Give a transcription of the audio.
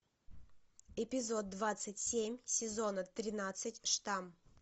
эпизод двадцать семь сезона тринадцать штамм